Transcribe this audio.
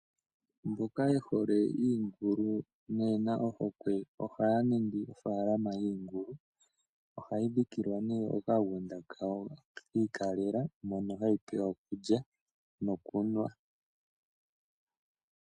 Mboka yehole iingulu, noye na ohokwe, ohaya ningi ofaalaama yiingulu. Ohayi dhikilwa nee okagunda kayo kiikalela, mono hayi pelwa okulya nokunwa.